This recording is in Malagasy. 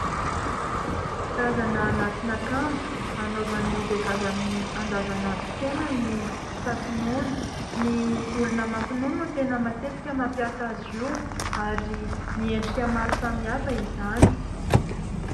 Karazana anatin'akanjo anaovan'ny vehivavy amin'ny andavan'androm-piainany ny tati-nono, ny olona mampinono no tena matetika mampiasa azy io ary miendrika maro samihafa izany.